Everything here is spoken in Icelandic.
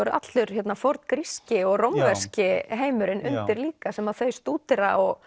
er allur forngríski og rómverski heimurinn undir líka sem þau stúdera og